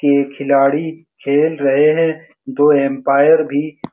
ये खिलाडी खेल रहे हैं दो एम्पायर भी --